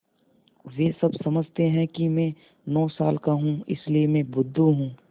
वे सब समझते हैं कि मैं नौ साल का हूँ इसलिए मैं बुद्धू हूँ